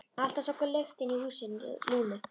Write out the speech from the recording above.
Alltaf svo góð lyktin í húsi Lúnu.